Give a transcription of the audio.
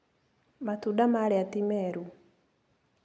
Matunda marĩa ti meru.